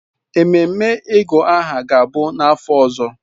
Ememe ịgụ aha ga-abụ n'afọ ọzọ.